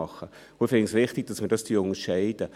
Ich finde es wichtig, dass wir dies unterscheiden.